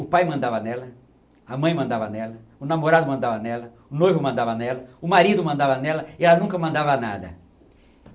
O pai mandava nela, a mãe mandava nela, o namorado mandava nela, o noivo mandava nela, o marido mandava nela e ela nunca mandava nada.